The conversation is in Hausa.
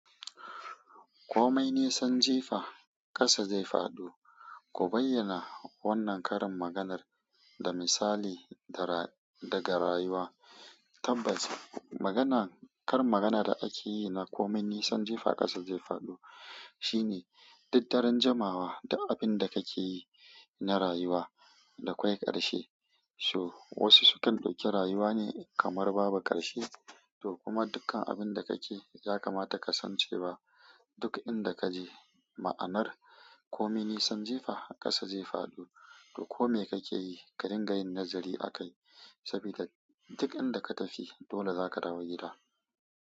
Komai nisan jifa ƙasa zai faɗo. Ku bayyana wannan karin maganar da misali da ra daga rayuwa. Tabbaci magana, karin maganar da ake yi na komai nisan jifa ƙasa zai faɗo shine duk daren jimawa duk abin da kake yi na rayuwa dakwai ƙarshe. So wasu sukan dauki rayuwa ne kamar babu ƙarshe, to kuma dukkan abinda kake yi yakamata ka san cewa duk inda kaje ma'anar komai nisan jefa ƙasa zai faɗo. To kome kake yi ka dinga yin nazari akai sabida duk inda ka tafi dole zaka dawo gida.